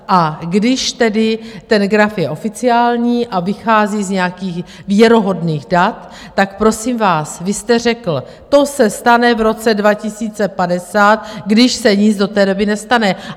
A když tedy ten graf je oficiální a vychází z nějakých věrohodných dat, tak prosím vás, vy jste řekl, to se stane v roce 2050, když se nic do té doby nestane.